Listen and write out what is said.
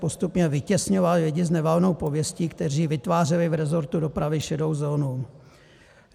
Postupně vytěsňoval lidi s nevalnou pověstí, kteří vytvářeli v rezortu dopravy šedou zónu.